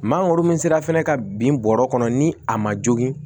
Maa o min sera fɛnɛ ka bin bɔrɛ kɔnɔ ni a ma jogin